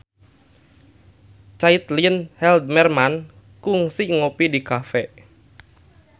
Caitlin Halderman kungsi ngopi di cafe